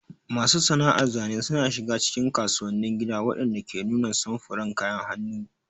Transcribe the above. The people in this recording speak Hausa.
Masu sana'ar zane suna shiga cikin kasuwannin gida waɗanda ke nuna samfuran kayan hannu.